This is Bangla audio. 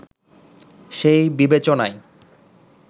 সেই বিবেচনায়